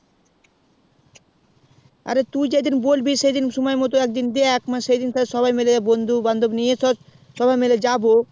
অরে তুই যে দিন বলবি সময় মতন এক দিন দেখ মানে সেই দিন তাহলে সবাই মিলে বন্ধু বান্ধব নিয়ে সবাই মিলে যাবো